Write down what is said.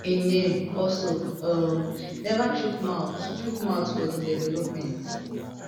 im name also um neva chook mouth chook mouth for di development